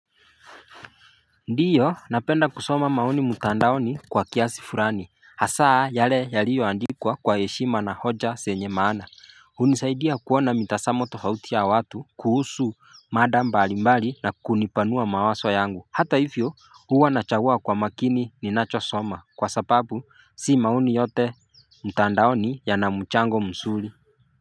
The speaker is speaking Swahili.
Ndiyo napenda kusoma mauni mutandaoni kwa kiasi furani hasaa yale yaliyo andikwa kwa yeshima na hoja senye maana unisaidia kuona mitasamo tofautia watu kuhusu madambalimbali na kunipanua mawaswa yangu hata hivyo huwa nachagua kwa makini ninachosoma kwa sapabu si mauni yote mutandaoni yana muchango msuri.